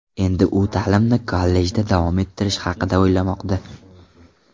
Endi u ta’limni kollejda davom ettirish haqida o‘ylamoqda.